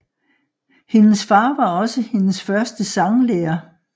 Hendes far var også hendes første sanglærer